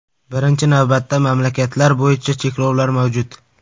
Birinchi navbatda, mamlakatlar bo‘yicha cheklov mavjud.